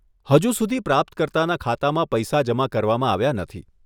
હજુ સુધી પ્રાપ્તકર્તાના ખાતામાં પૈસા જમા કરવામાં આવ્યા નથી.